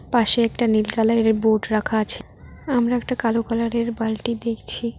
পাশে একটা নীল কালারের বোর্ড রাখা আছে আমরা একটা কালো কালারের বালটি দেখছি।